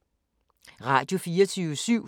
Radio24syv